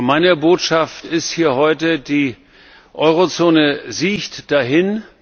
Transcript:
Meine Botschaft ist hier heute Die Eurozone siecht dahin.